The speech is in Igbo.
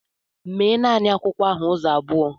Mee naanị akwụkwọ ahụ ụzọ abụọ!